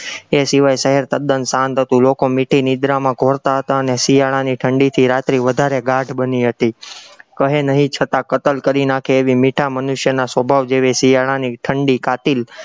એ સિવાય શહેર તદ્દન શાંત હતું, લોકો મીઠી નિંદ્રા માં ઘોળતા હતા અને શિયાળાની ઠંડીજ રાત્રી વધારે ગાઢ બની હતી, કહે નહિ છતાં કતલ કરી નાખે એવા મીઠા મનુષ્યના સ્વભાવ જેવી શિયાળાની ઠંડી કાતિલ